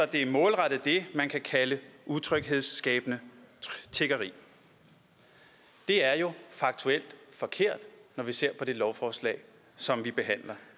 det er målrettet det man kan kalde utryghedsskabende tiggeri det er jo faktuelt forkert når vi ser på det lovforslag som vi behandler